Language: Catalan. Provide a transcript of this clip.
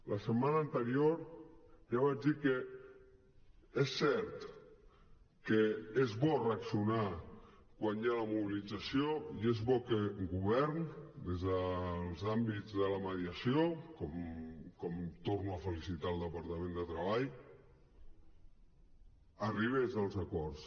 la setmana anterior ja vaig dir que és cert que és bo reaccionar quan hi ha una mobilització i és bo que govern des dels àmbits de la mediació com torno a felicitar el departament de treball arribés als acords